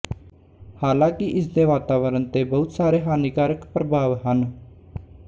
ਹਾਲਾਂਕਿ ਇਸਦੇ ਵਾਤਾਵਰਨ ਤੇ ਬਹੁਤ ਸਾਰੇ ਹਾਨੀਕਾਰਕ ਪ੍ਰਭਾਵ ਹਨ